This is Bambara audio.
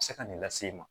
Se ka nin lase e ma